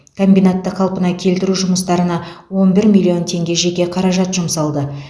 комбинатты қалпына келтіру жұмыстарына он бір миллион теңге жеке қаражат жұмсалды